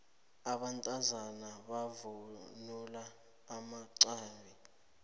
abantazana bavunula amaxhabi